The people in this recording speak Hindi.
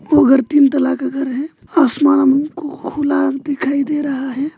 ओ घर तीन तल्ला का घर है आसमान हमको खुला दिखाई दे रहा है।